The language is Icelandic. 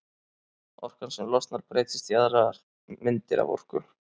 Orkan sem losnar breytist í aðrar myndir af orku.